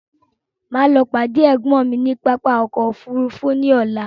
Máa lọ pàdé ẹ̀gbọ́n mi ní pápákọ̀ ọkọ òfúrufú ní ọlá